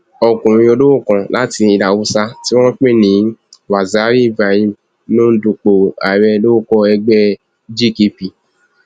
ọkùnrin olówó kan láti ilẹ haúsá tí wọn ń pè ní waziri ibrahim ló ń dupò ààrẹ lórúkọ ẹgbẹ gkp